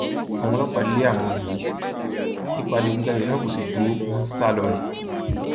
àwọn ọlọpàá lé àwọn olè yìí ikọ adigunjalè náà kó sì dúró wọn ń sá lọ ni